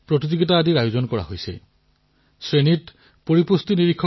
পোষণ সপ্তাহেই হও বা পোষণ মাহেই হওক ইয়াৰ জৰিয়তে অধিক সংখ্যক সজাগতা প্ৰদান কৰা হৈছে